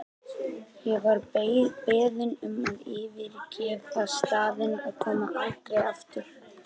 Ég var beðin um að yfirgefa staðinn og koma aldrei aftur.